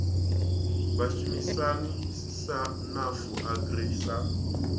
vhashumisani sa nafu agri sa